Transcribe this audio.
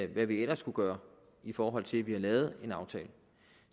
vi ellers skulle gøre i forhold til at vi har lavet en aftale